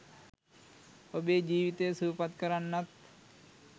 ඔබේ ජීවිතය සුවපත් කරන්නත්